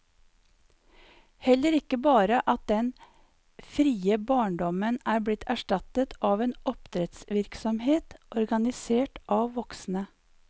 Heller ikke bare at den frie barndommen er blitt erstattet av en oppdrettsvirksomhet organisert av voksne.